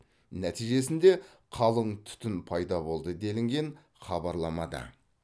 нәтижесінде қалың түтін пайда болды делінген хабарламада